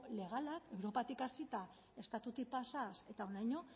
legala europatik hasita estatutik pasaz eta honaino